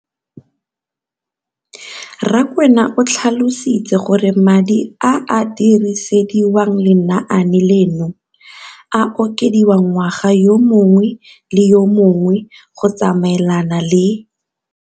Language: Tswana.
Rakwena o tlhalositse gore madi a a dirisediwang lenaane leno a okediwa ngwaga yo mongwe le yo mongwe go tsamaelana le